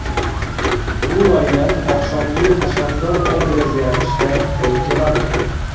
Bu variant oqshomgi hashamdor obraz yaratishda qo‘l keladi.